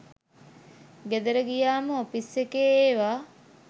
ගෙදර ගියාම ඔෆිස් එකේ ඒවා